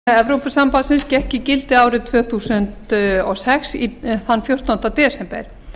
virðulegi forseti önnur marco polo áætlun evrópusambandsins gekk í gildi árið tvö þúsund og sex þann fjórtánda desember